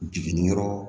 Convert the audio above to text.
Jiginniyɔrɔ